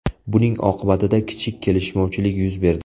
Buning oqibatida kichik kelishmovchilik yuz berdi.